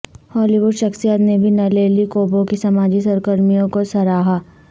ہالی ووڈ شخصیات نے بھی نلیلی کوبو کی سماجی سرگرمیوں کو سراہا